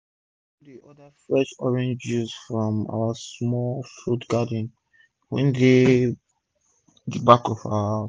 one school dey order fresh orange juice from our small fruit garden wey dey d back of our house